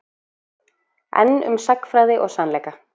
Enn um sagnfræði og sannleika